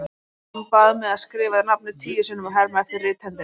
Hann bað mig að skrifa nafnið tíu sinnum og herma eftir rithendinni.